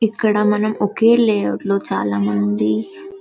ఇక్కడ మనం ఒకే లే అవుట్ లో చాలా మంది--